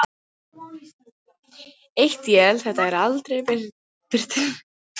Eitt él það er aldrei birtir.